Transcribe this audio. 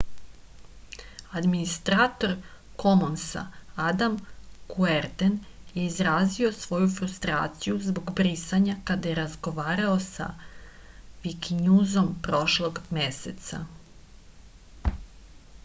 administrator komonsa adam kuerden je izrazio svoju frustraciju zbog brisanja kada je razgovarao sa vikinjuzom prošlog meseca